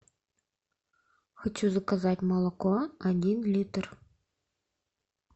хочу заказать молоко один литр